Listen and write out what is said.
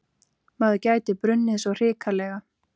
Maður gæti brunnið svo hrikalega.